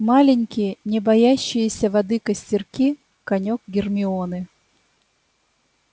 маленькие не боящиеся воды костерки конёк гермионы